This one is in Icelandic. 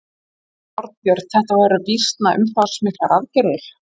Þorbjörn þetta voru býsna umfangsmiklar aðgerðir?